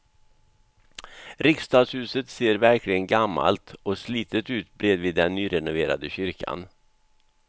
Riksdagshuset ser verkligen gammalt och slitet ut bredvid den nyrenoverade kyrkan.